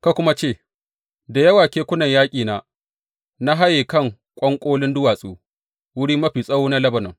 Ka kuma ce, Da yawa kekunan yaƙina na haye kan ƙwanƙolin duwatsu, wurin mafi tsawo na Lebanon.